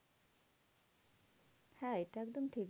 হ্যাঁ এটা একদম ঠিক